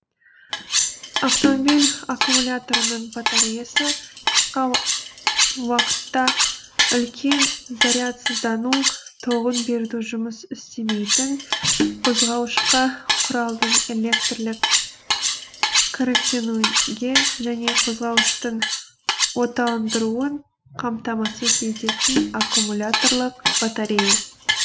автомобиль аккумуляторының батареясы қысқа уақытта үлкен зарядсыздану тогын берудің жұмыс істемейтін қозғауышқа құралдың электрлік қоректенуге және қозғауыштың отандыруын қамтамасыз ететін аккумуляторлық батарея